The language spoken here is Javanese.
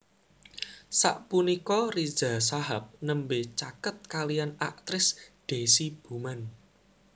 Sapunika Riza Shahab nembé caket kaliyan aktris Deasy Bouman